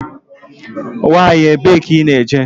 Nwanyi ebee ka I ná-eje?